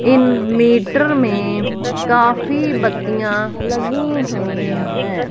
इन meter में काफी बत्तियां लगी हुई है।